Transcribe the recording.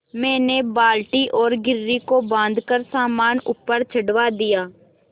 मैंने बाल्टी और घिर्री को बाँधकर सामान ऊपर चढ़वा दिया